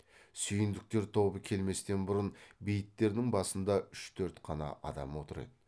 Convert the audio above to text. сүйіндіктер тобы келместен бұрын бейіттердің басында үш төрт қана адам отыр еді